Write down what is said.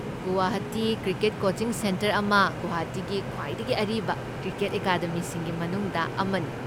Guwahati cricket coaching centre ꯑꯁꯤ ꯒꯨꯋꯥꯍꯥꯇꯤꯒꯤ ꯈ꯭ꯋꯥꯏꯗꯒꯤ ꯑꯔꯤꯕ ꯀ꯭ꯔꯤꯀꯦꯠ ꯑꯦꯀꯥꯗꯃꯤꯁꯤꯡꯒꯤ ꯃꯅꯨꯡꯗ ꯑꯃꯅꯤ꯫